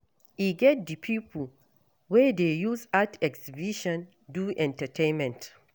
E get di pipo wey dey use art exhibition do entertainment